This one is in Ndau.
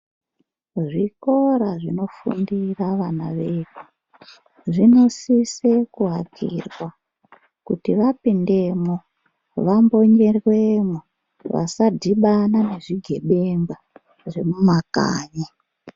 Zvikora zvinofundira vana vedu, zvinosise kuakirwa kuti vapindemwo, vambonyerwemwo, vasadhibana nezvigebengwa zvemumakanyi.